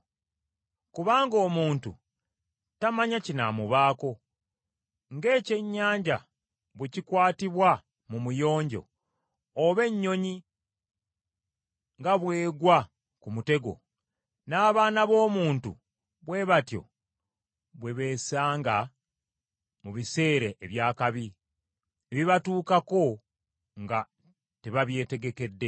Kubanga omuntu tamanya kinaamubaako. Ng’ekyenyanja bwe kikwatibwa mu muyonjo, oba ennyonyi nga bw’egwa ku mutego, n’abaana b’omuntu bwe batyo bwe beesanga mu biseera eby’akabi, ebibatuukako nga tebabyetegekedde.